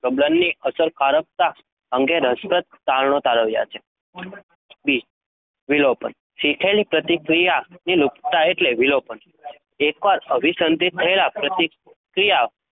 પ્રબલનની અસરકારકતા અંગે રસપ્રદ તારણો તારવ્યાં છે. વી વિલોપન શીખેલી પ્રતિક્રિયાની લુપ્તતા એટલે વિલોપન. એકવાર અભિસંધિત થયેલ પ્રતિક્રિયા